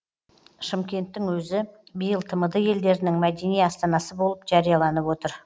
шымкенттің өзі биыл тмд елдерінің мәдени астанасы болып жарияланып отыр